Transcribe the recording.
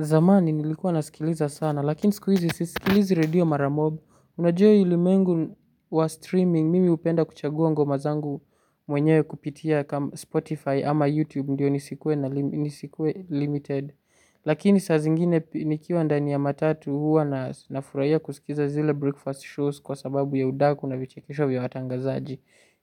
Zamani nilikuwa nasikiliza sana, lakini siku hizi sisikilizi radio mara mob. Unajua hii ulimwengu wa streaming, mimi hupenda kuchagua ngoma zangu mwenyewe kupitia Spotify ama YouTube, ndio nisikue na nisikue limited. Lakini saa zingine nikiwa ndani ya matatu huwa na nafurahia kusikiza zile breakfast shows kwa sababu ya udaku na vichekesho vya watangazaji.